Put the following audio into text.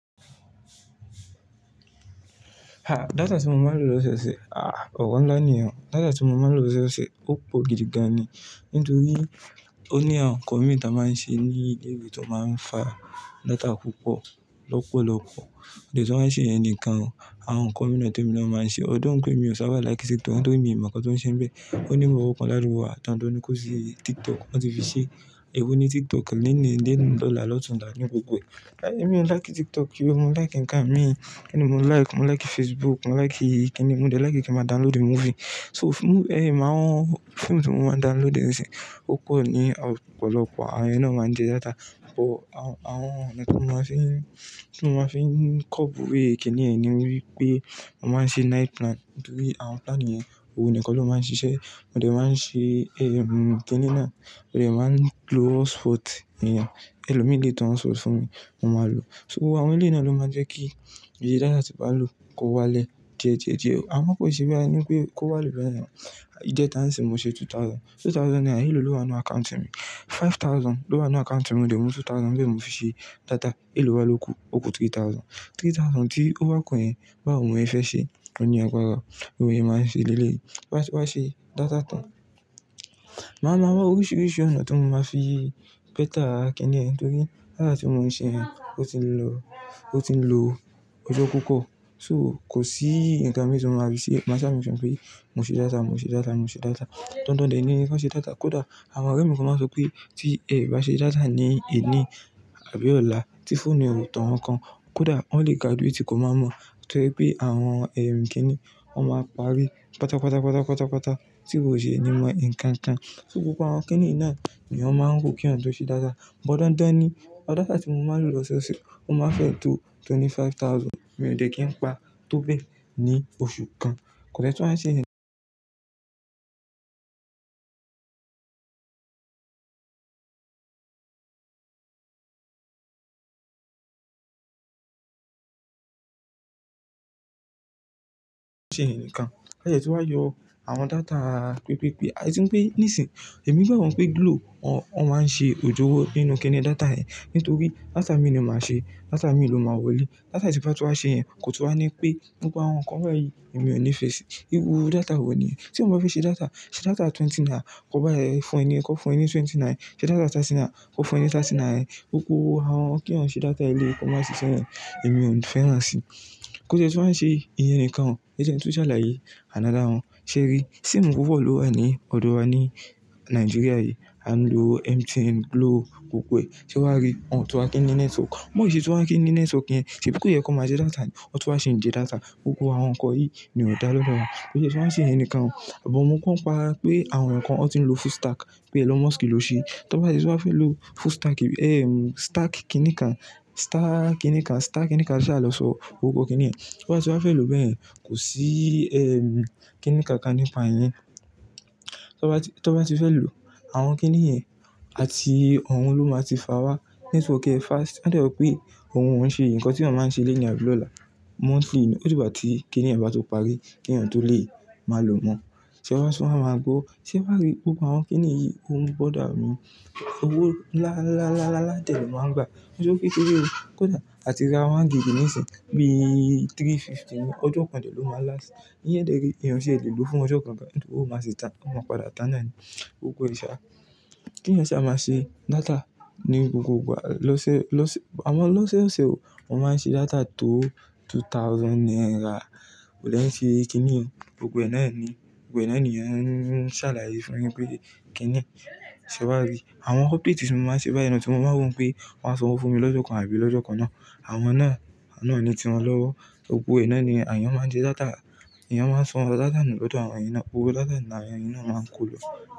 Ha! Data tí mo máa ń lò lọ́sẹ̀ ṣe, ah! Ọ̀wọ́ ń lá níyen. Data tí mo máa ń lò lọ́sẹ̀ ṣe ó pò gidi gan ni nítorí ó ní àwọn nǹkan mìíràn tí a máa ń ṣe ní ilé ìwé tó máa ń fa data púpọ̀ lọ́pọ̀lọpọ̀. De ti wá ṣe iyẹn nǹkan, àwọn nǹkan mìíràn temi na máa ń ṣe. Although pé èmi ò sábà like TikTok nítorí mi ò mọ̀ nnkan tọ́n ṣe bẹ́ẹ̀. Ó ní bibo kan ladugbo wa dan dan ní kó ṣe TikTok, wọ́n ti fi ṣe. Ẹ wò ó ní TikTok lónìí, lola, lotunla ní gbogbo e. Ẹ̀mi ò like TikTok kí ó, mo like nǹkan mi. Kini mo like, mo like Facebook, mo like kíni, mo jẹ like kí n máa download movie. So, mo-- eh! Màá wọ́n, fíìmù tí mo máa download ní ìsìn, ó pọ̀ ní ọ̀pọ̀lọpọ̀. Àwọn yẹn náà máa ń jẹ data. But àwọn tí mo máa fi ń, tí mo máa fi ń kọ́bù we kìnìún ni wípé a máa ń ṣe night plan nítorí àwọn plan yẹn, òun nìkan ló máa ń ṣiṣẹ́. Mo de maá n ṣe, eh! Kíni náà? Mo de maa n lo hotspot eeyan. Ẹlòmíì le tan hotspot fún mi, mo máa lò. So àwọn eleyi náà ló máa ń jẹ́ kí ìye data tí bàa ń lò kó wálẹ̀ díẹ̀ díẹ̀ díẹ̀. A mọ̀ ko sé bi eni pé kó wálẹ̀ bẹ́ẹ̀ ni. Ìjẹta nsin mo ṣe two thousand. Two thousand naira, èló wà nú account mi. Five thousand ló wà nú account mi, mo de mú two thousand nbẹ́ mo fi ṣe data. Èló wá lóku, ó kú three thousand. Three thousand tí ó wá kú yẹn, báwo mò yẹ fẹ́ ṣe, ó ní àgbara. Òun yẹn máa ń ṣe lélẹ̀ẹ́, wá ṣe data tán. Màá ma wa oríṣìíríṣìí ònà tí mo máa fi pẹ́tà kìnìún nítorí data tí mo ń ṣe yẹn ó ti ń lọ, ó ti ń lo ọjọ́ púpọ̀. So kò sí nǹkan mìíràn tí mo máa rí sí. Màá ṣà make sure pé mo ṣe data, mo ṣe data, mo ṣe data. Dandan dẹ̀ ní kí wọ́n ṣe data. Kódà àwọn ọ̀rẹ́ mi tó máa ń sọ pé tí ẹ bá ṣe data ní èní àbí ọ̀la tí phone mi ò tọ́ wọn kan, kódà wọ́n lè graduate kò mọ̀ mọ̀. Torí pé àwọn, eh! Kíni, wọ́n máa parí pátápátá pátápátá tí kò yẹ ní mọ nǹkan kan. So gbogbo àwọn kìnìún yìí náà n'eyan máa ń rò k'eyan tó ṣe data. But dandan ni data tí mo máa ń lò lọ́sẹ̀ ṣe ó máa ń fẹ́ tó twenty five thousand. Mi ò dẹ̀ kí n pa tó bẹ́ẹ̀ ní oṣù kan. Kò de tun wa ṣe iyẹn nikan. Kase tun wa yọ àwọn data pípípí. Ati n pé ní sìn, èmi gbàgbo pé Glo wón máa ń ṣe òjoró nínú kìnì data yẹn. Nítorí data mii ni màá ṣe, data mii ló máa wọlé. Data tí bàa tun wá ṣe yẹn kò tun wá ní pé gbogbo àwọn nǹkan bayìí èmi ò ní fẹ́ ṣi. Iru data wọ̀ ní. Tí wọ́n bá fẹ́ ṣe data, ṣe data twenty naira, kó bá ẹ fún ẹ ní, kó fún ẹ ní twenty-nine. Ṣé data thirty naira, kó fún ẹ thirty-nine. Gbogbo àwọn k'eyan ṣe data eléyii, kó má ṣise yẹ́n, èmi ò ní fẹ́ rán sí. Kò de tun wa ṣe ìyẹn nǹkan. Ẹjẹ n tun sálàyé another one. Sé rí, sími pupo lò wá ní ọ̀dọ̀ wa ní Nàìjíríà yìí. A ń lo MTN, Glo gbogbo e. Se wa ri, wọn tun wá kín ní network. B'ọn ò ṣe tun wá kín ní network yen. Ṣèbí kó yẹ kó má ṣe data ni, wọ́n tun wá ṣi ń jẹ data. Gbogbo àwọn nǹkan yìí ni ó dá lọ́do wà. Kò sí tun wa n ṣe iyẹn nikan o. Sugbon mo gbo n pa pé àwọn nǹkan wọ́n ti ń lo full stack pé ẹlon musk ló ṣe. T'ọ́n bá ṣe tí wa fẹ́ lo full stack, eh! Stack kíni kan, stack kíni kan, stack kíni kan ṣàlọ́sọ gbogbo kìnìún. Tí wọ́n bá ti wá fẹ́ lò bẹ́ẹ̀, kò sí, eh! Kíni kan kan nípa iyẹ́n Tí wọ́n bá ti fẹ́ lò àwọn kìnì yẹn àti òun ló máa ti fà wá network ẹ fast. Adẹ yọ pé òun ò ń ṣe nǹkan tí eeyan máa ń ṣe léni abi lọ́la monthly ni. Ó di gbá tí kìnì yen bá tó parí kí èeyàn tó lè máa lò mọ́. Te wa tún wa mago, tí m bá rí gbogbo àwọn kìnì yìí, òun bọ̀dà mi. Owó lááá-lááá-lááá tẹ́lẹ̀ máa ń gba. Ki n sowo kekere o. Kódà àtírà one gigi ní ìsìn bí i three fifty ni ọjọ́ kan dẹ́lẹ̀ ló máa ń last. Íyẹn dẹ́ ré èèyàn ti e le lo fún ọjọ́ kan bẹ́ẹ̀ nítorí òun máa ṣe tán, ó máa padà tán náà ní gbogbo e ṣà. K'eyan saa máa ṣe data ní gbogbo ìgbà? Lọ ṣe, lọ ṣe, àwọn lọ ṣe ó ṣe o. Mo máa ń ṣe data tó two thousand naira. Kodẹ ń ṣe kíni o. Gbogbo e ná ni, gbogbo e ná ni yen ń sálàyé fún ẹ pé kíni. Se wa rí àwọn update tí mo máa ń ṣe báyìí náà tí mo máa ń wò pé wọ́n a sanwo fún mi lọ́jo kan àbí lọ́jo kan náà. Àwọn náà, àwọn náà ni tí wọn lọ́wọ́. Gbogbo iná ni èèyàn máa ń ṣe data. Ẹ̀yàn máa ń sọ data nù lọ́dọ̀ àwọn èyí náà. Gbogbo data ni èyín náà máa ń kó lo.